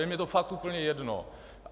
Je mi to fakt úplně jedno!